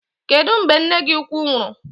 Kedụ mgbe nne gị ukwu nwụrụ?